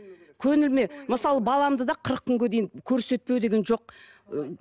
көңіліме мысалы баламды да қырық күнге дейін көрсетпеу деген жоқ